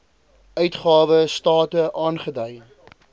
uitgawe state aangedui